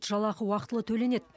жалақы уақытылы төленеді